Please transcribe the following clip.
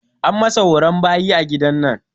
An masa horon bayi a gidan nan.